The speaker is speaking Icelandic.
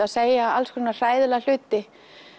að segja alls konar hræðilega hluti